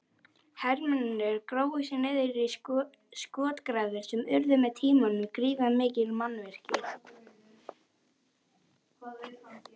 Hermennirnir grófu sig niður í skotgrafir sem urðu með tímanum gríðarmikil mannvirki.